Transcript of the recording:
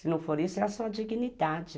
Se não for isso, é a sua dignidade.